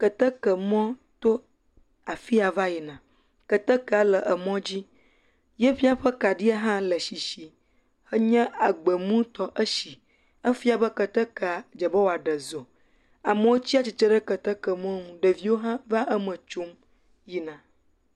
Keteke mɔ to afi ya va yina, ketekea le emɔa dzi, efia be kaɖia hã le sisi, enye agbemu tɔ, esi, efia be ketekea dze be wòaɖe zɔ. Amewo tsatsitre ɖe keteke emɔ nu, ɖeviwo hã va eme tsom yina.